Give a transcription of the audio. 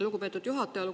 Lugupeetud juhataja!